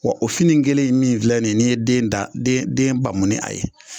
Wa o fini kelen ye min filɛ nin ye n'i den da, den bamu ni a ye,